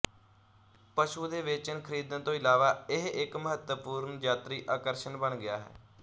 ਪਸ਼ੂ ਦੇ ਵੇਚਣ ਖਰੀਦਣ ਤੋਂ ਇਲਾਵਾ ਇਹ ਇੱਕ ਮਹੱਤਵਪੂਰਨ ਯਾਤਰੀ ਆਕਰਸ਼ਣ ਬਣ ਗਿਆ ਹੈ